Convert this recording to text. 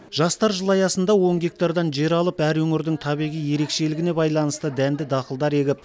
жастар жылы аясында он гектардан жер алып әр өңірдің табиғи ерекшелігіне байланысты дәнді дақылдар егіп